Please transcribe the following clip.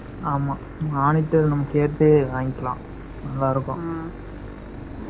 ஆமாம்